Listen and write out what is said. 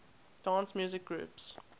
dance music groups